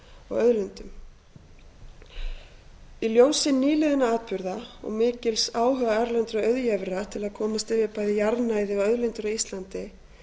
og auðlindum í ljósi nýliðinna atburða og mikils áhuga erlendra auðjöfra til að komast yfir bæði jarðnæði og auðlindir á íslandi